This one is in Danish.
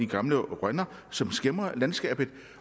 gamle rønner som skæmmer landskabet